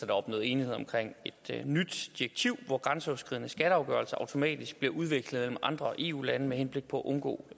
opnået enighed om et nyt direktiv hvor grænseoverskridende skatteafgørelser automatisk bliver udvekslet mellem andre eu lande med henblik på at undgå